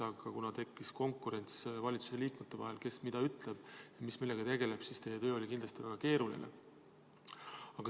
Aga kuna tekkis konkurents valitsusliikmete vahel, kes mida ütleb ja millega tegeleb, siis teie töö oli kindlasti väga keeruline.